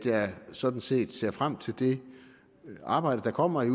at jeg sådan set ser frem til det arbejde der kommer i